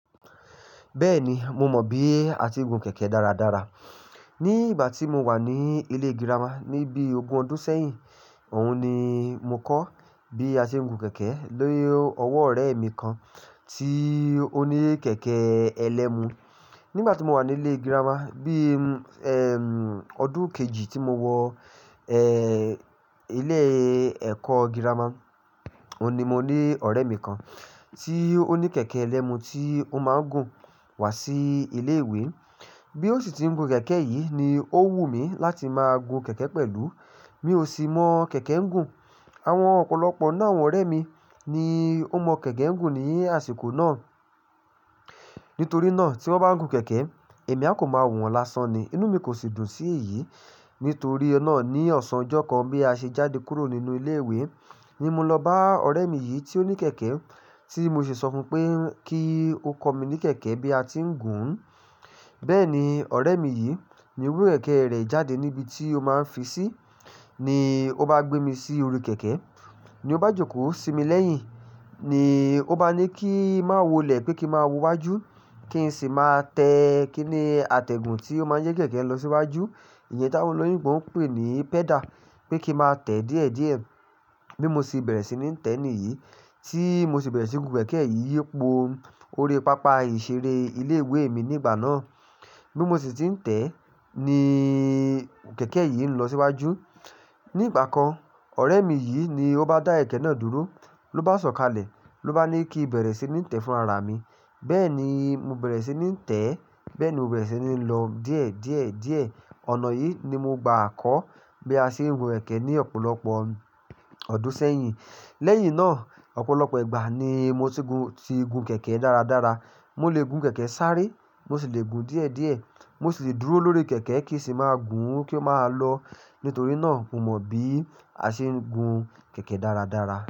Bẹ́ẹ̀ni, mo mọ bí a ti ń gun kẹ̀kẹ́ dáradára. Ni ìgbà tí mo wà ní ilé girama ní bí ogún ọdún sẹ́yìn, òhun ni mo kọ́ bí a ṣe ń gun kẹ̀kẹ́ ni ọwọ́ ọ̀rẹ́ mi kan tí ó ní kẹ̀kẹ́ ẹlẹ́mu. Nígbà tí mo wà ní ilé girama, bí, ẹm, ọdún kejì tí mo wọ, ẹẹ́, ilé ẹ̀kọ́ girama, òhun ni mo ní ọ̀rẹ́ mi kan tí ó ní kẹ̀kẹ́ ẹlẹ́mu tí ó máa ń gùn wá sí ilé ìwé. Bí ó sì ti ń gun kẹ̀kẹ́ yìí ni ó wù mí láti máa gun kẹ̀kẹ́ pẹ̀lú. Mi ò sì mọ kẹ̀kẹ́ ń gun. Àwọn ọ̀pọ̀lọpọ̀ náà, àwọn ọ̀rẹ́ mi ni ó mọ kẹ̀kẹ́ ń gun ní àsìkò náà. Nítorí náà, tí wọ́n bá ń gun kẹ̀kẹ́, èmi a kò máa wo wọ́n lásán ni. Inú mi kò sì dùn sí èyí. Nítorí náà ní ọ̀sán ọjọ́ kan bí a ṣe jáde kúrò nínú ilé ìwé ní mo lọ bá ọ̀rẹ́ mi yìí tí ó ní kẹ̀kẹ́ tí mo sì sọ fún pé kí ó kọ mí ní kẹ̀kẹ́ bí a ti ń gùn ún. Bẹ́ẹ̀ni, ọ̀rẹ́ mi yìí ni rú ẹ̀kẹ́ rẹ̀ jáde níbi tí ó máa ń fi sí, ni ó bá gbé mi sí orí kẹ̀kẹ́. Ni ó bá jókòó sí mi lẹ́yìn, ni ó bá ní kí má wọlẹ̀ pé kí má wọ wájú kí n sì má tẹ, kí ni, atẹ́gùn tí ó máa ń yí kẹ̀kẹ́ lọ síwájú. Ìyẹn táwọn olóyìnbo ń pè ní pedal. Pé kí má tẹ̀ díẹ̀díẹ̀. Bí mo sì bẹ̀rẹ̀ sí ní tẹ ni yìí, tí mo sì bẹ̀rẹ̀ sí gun kẹ̀kẹ́ yìí yípo orí pápá ìṣeré ilé ìwé mi nígbà náà. Bí mo sì ti ń tẹ́ ni kẹ̀kẹ́ yìí ń lọ síwájú. Ní ìgbà kan, ọ̀rẹ́ mi yìí ni ó bá dá kẹ̀kẹ́ náà dúró, ló bá sọ̀kalẹ̀, ló bá ní kí n bẹ̀rẹ̀ sí ní tẹ fún ara mi. Bẹ́ẹ̀ ni mo bẹ̀rẹ̀ sí ní tẹ́, bẹ́ẹ̀ ni mo bẹ̀rẹ̀ sí ní lọ díẹ̀, díẹ̀, díẹ̀. Ọ̀nà yìí ni mo gba kọ́ bí a ṣe ń gun kẹ̀kẹ́ ní ọ̀pọ̀lọpọ̀ ọdún sẹ́yìn. Lẹ́yìn náà, ọ̀pọ̀lọpọ̀ ìgbà ni mo ti gun, ti gun kẹ̀kẹ́ dáradára. Mo lè gun kẹ̀kẹ́ sáré, mo sì lè gun díẹ̀díẹ̀. Mo sì lè dúró lórí kẹ̀kẹ́ kì í sì máa gùn ún kí ó máa lọ. Nítorí náà, mo mọ bí a ṣe ń gun kẹ̀kẹ́ dáradára.